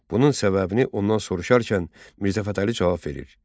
Bunun səbəbini ondan soruşarkən, Mirzə Fətəli cavab verir: